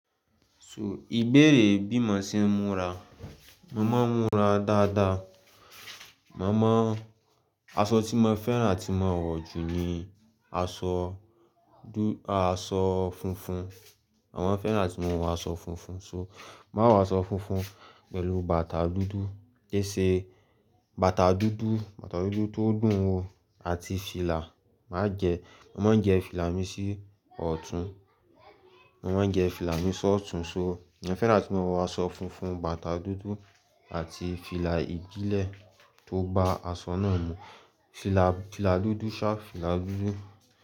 So ìbéèrè bí mo se ń múra, mo màá n múra dáadáa. Màá mọ asọ tí mọ fẹ́ràn atí mo wọ̀ jù ni asọ asọ funfun. Màá mọ fẹ́ràn atí mọ wọ asọ funfun. So màá wọ asọ funfun pẹ̀lú bàtà dúdú, kì í se bàtà dúdú, bàtà dúdú tó dùn wò àti fìlà. Màá jẹ, mo màá n jẹ fìlà mi sí ọ̀tún. Mo màá n jẹ fìlà mi sí ọ̀tún. So mo fẹ́ràn atí mọ wọ asọ funfun, bàtà dúdú àti fìlà ìdílẹ tó ba asọ náà mú. Fìlà, fìlà dúdú sharp, fìlà dúdú.